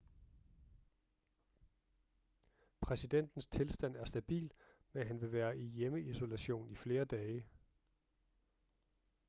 præsidentens tilstand er stabil men han vil være i hjemmeisolation i flere dage